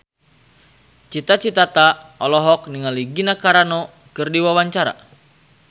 Cita Citata olohok ningali Gina Carano keur diwawancara